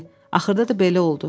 Axırda da belə oldu.